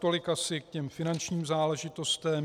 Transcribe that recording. Tolik asi k těm finančním záležitostem.